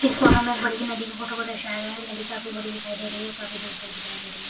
इस फोटो में एक बड़ी नदी के फोटो को दर्शाया गया है। नदी काफी बड़ी दिखाई दे रही और काफी दूर तक दिखाई दे रही है।